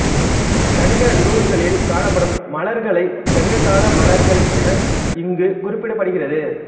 சங்க நூல்களில் காணப்படும் மலர்களைச் சங்ககால மலர்கள் என இங்குக் குறிப்பிடப்படுகிறது